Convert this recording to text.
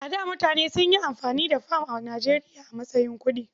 A da mutane sun yi amfani da fam a Nijeriya a matsayin kuɗi.